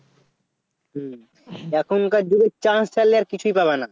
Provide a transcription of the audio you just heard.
হুঁ এখনকার যুগে Chanace ছাড়লে আর কিছুই পাবনা